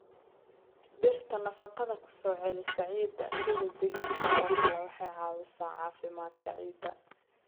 Dhirta nafaqada ku soo celisa ciidda sida digirta oo kale waxay caawisaa caafimaadka ciidda.